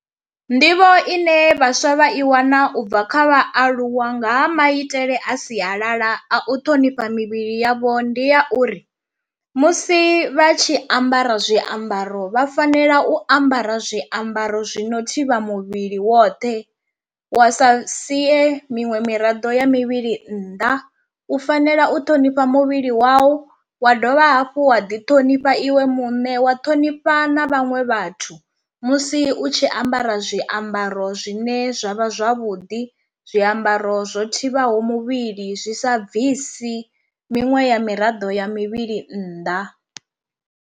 Nḓivho ine vhaswa vha i wana ubva kha vhaaluwa nga ha maitele a sialala a u ṱhonifha mivhili yavho ndi ya uri musi vha tshi ambara zwiambaro vha fanela u ambara zwiambaro zwi no thivha muvhili woṱhe wa sa sie miṅwe miraḓo ya mivhili nnḓa, u fanela u ṱhonifha muvhili wau wa dovha hafhu wa ḓi ṱhonifha iwe muṋe wa ṱhonifha na vhaṅwe vhathu, musi u tshi ambara zwiambaro zwine zwa vha zwavhuḓi zwiambaro zwo thivhaho muvhili zwi sa bvisi miṅwe ya miraḓo ya mivhili nnḓa.